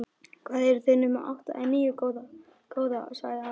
Hvað, eru þau nema átta eða níu, góða? sagði afi.